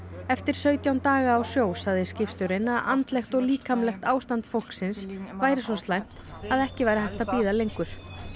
eftir sautján daga sagði skipstjórinn að andlegt og líkamlegt ástand fólksins væri svo slæmt að ekki væri hægt að bíða lengur